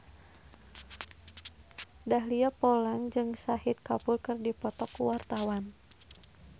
Dahlia Poland jeung Shahid Kapoor keur dipoto ku wartawan